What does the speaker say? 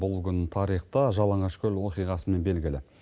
бұл күн тарихта жалаңашкөл оқиғасымен белгілі